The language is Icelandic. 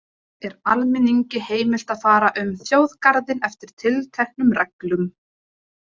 Jafnframt er almenningi heimilt að fara um þjóðgarðinn eftir tilteknum reglum.